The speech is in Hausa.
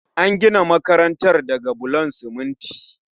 An gina makarantar daga bulon siminti